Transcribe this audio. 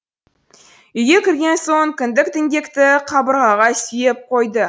үйге кірген соң кіндік діңгекті қабырғаға сүйеп қойды